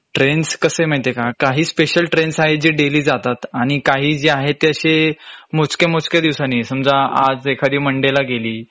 trains कसे माहिती आहे का, काही स्पेसिअल ट्रेन्स आहेत जे डैली जातात आणि काही जे आहेत ते असे मोजके मोजके दिवसांनी समजा आज एखादी मंडे ला गेली